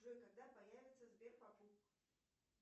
джой когда появится сбер покуп